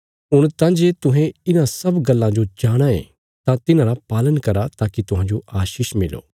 हुण तां जे तुहें इन्हां सब गल्लां जो जाणाँ ये तां तिन्हांरा पालन करा ताकि तुहांजो आशीष मिलो